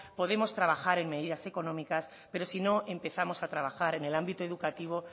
podemos trabajar en medidas económicas pero si no empezamos a trabajar en el ámbito educativo